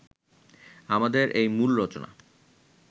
আমাদের এই মূল রচনা